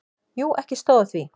Jú, ekki stóð á því.